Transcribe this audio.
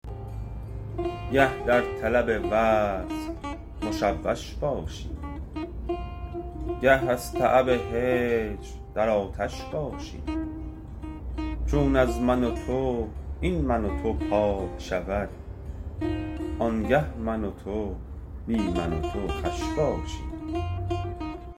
گه در طلب وصل مشوش باشیم گاه از تعب هجر در آتش باشیم چون از من و تو این من و تو پاک شود آنگه من و تو بی من و تو خوش باشیم